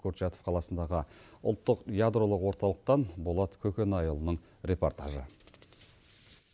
курчастов қаласындағы ұлттық ядролық орталықтан болат көкенайұлының репортажы